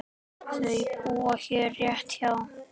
Þau búa hérna rétt hjá.